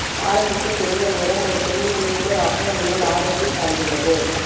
ஆரம்பிக்க சிறந்த நேரம் ஒரு தொழில்முனைவோர் ஆக உங்கள் ஆர்வத்தை சார்ந்துள்ளது